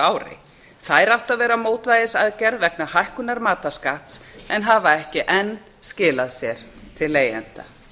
ári þær áttu að vera mótvægisaðgerð vegna hækkunar matarskatts en hafa ekki enn skilað sér til leigjenda